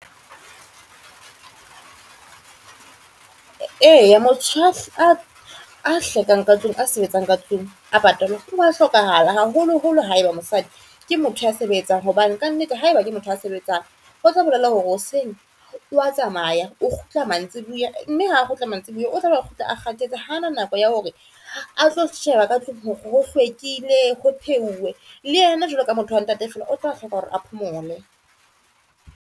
E, motho a hlekang ka tlung, a sebetsang ka tlung, a wa hlokahala haholoholo haeba mosadi ke motho ya sebetsang hobane kannete, haeba ke motho a sebetsang, o tlo bolella hore hoseng wa tsamaya o kgutla mantsibuya, mme ha kgutla mantsibuya o tlabe a kgutla a kgathetse hana nako ya hore atlo sheba ka tlung hore ho hlwekile, ho pheuwe. Le ena jwalo ka motho wa ntate fela o tla hloka hore a phomole.